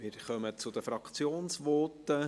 Wir kommen zu den Fraktionsvoten.